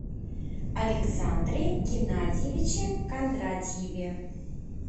александре геннадьевиче кондратьеве